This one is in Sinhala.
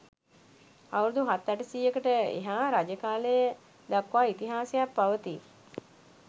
අවුරුදු හත් අටසීයකට එහා රජ කාලය දක්වා ඉතිහාසයක් පවතී